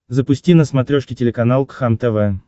запусти на смотрешке телеканал кхлм тв